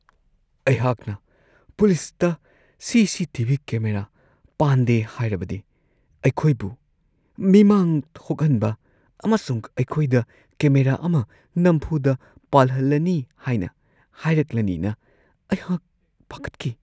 ꯑꯩꯍꯥꯛꯅ ꯄꯨꯂꯤꯁꯇ CCTV. Camera ꯄꯥꯟꯗꯦ ꯍꯥꯏꯔꯕꯗꯤ ꯑꯩꯈꯣꯏꯕꯨ ꯃꯤꯃꯥꯡ ꯊꯣꯛꯍꯟꯕ ꯑꯃꯁꯨꯡ ꯑꯩꯈꯣꯏꯗ ꯀꯦꯃꯦꯔꯥ ꯑꯃ ꯅꯝꯐꯨꯗ ꯄꯥꯜꯍꯜꯂꯅꯤ ꯍꯥꯏꯅ ꯍꯥꯏꯔꯛꯂꯅꯤꯅ ꯑꯩꯍꯥꯛ ꯄꯥꯈꯠꯈꯤ ꯫ (ꯁꯤꯇꯤꯖꯟ)